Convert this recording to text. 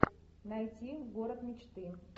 найти город мечты